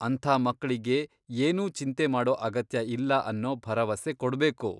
ಅಂಥ ಮಕ್ಳಿಗೆ ಏನೂ ಚಿಂತೆ ಮಾಡೋ ಅಗತ್ಯ ಇಲ್ಲ ಅನ್ನೋ ಭರವಸೆ ಕೊಡ್ಬೇಕು.